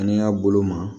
N'i y'a bolo ma